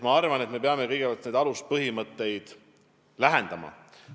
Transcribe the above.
Ma arvan, et me peame kõigepealt neid aluspõhimõtteid omavahel lähendama.